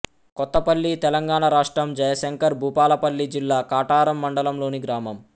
కొత్తపల్లి తెలంగాణ రాష్ట్రం జయశంకర్ భూపాలపల్లి జిల్లా కాటారం మండలంలోని గ్రామం